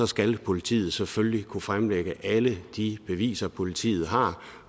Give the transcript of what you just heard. skal politiet selvfølgelig kunne fremlægge alle de beviser politiet har